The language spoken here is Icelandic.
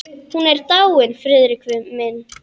Hún er dáin, Friðrik minn.